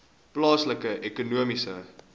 plaaslike ekonomiese